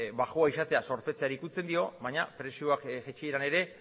baxua izatea zorpetzeari ukitzen dio baina prezioak jaitsieran ere